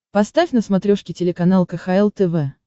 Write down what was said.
поставь на смотрешке телеканал кхл тв